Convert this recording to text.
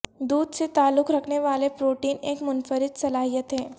دودھ سے تعلق رکھنے والے پروٹین ایک منفرد صلاحیت ہے